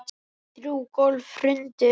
Þrjú gólf hrundu.